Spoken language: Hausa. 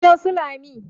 gidan su Lami